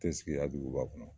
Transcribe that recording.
Te sigi ya duguba kɔnɔ